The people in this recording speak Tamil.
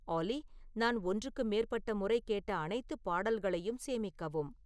ஆல்லி நான் ஒன்றுக்கு மேற்பட்ட முறை கேட்ட அனைத்து பாடல்களையும் சேமிக்கவும்